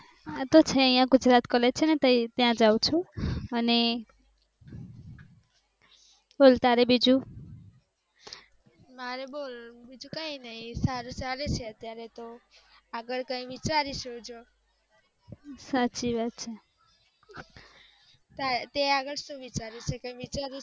તે આગળ કાઇ વિચાર્યું છે